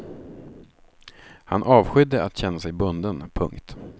Han avskydde att känna sig bunden. punkt